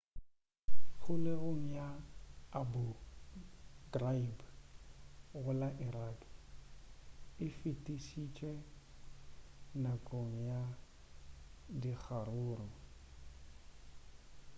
kgolegong ya abu ghraib go la iraq e fišitšwe nakong ya dikgaruru